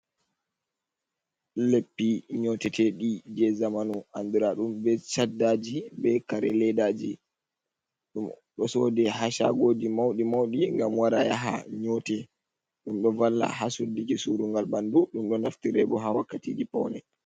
Leppi nyote teɗi je zamanu andira ɗum be chaddaji, be kare ledaji, ɗum ɗo sodi ha shagoji mauɗi mauɗi ngam wara yaha nyote, ɗum doy valla ha suddiji surungal ɓanɗu , ɗum dot naftire bo ha wakkatiji poune.